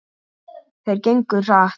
Þeir gengu hratt.